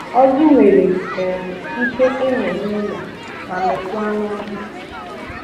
Ọjị nwere um Ike ịmị nụlọ ma mịkwaa nọhịa.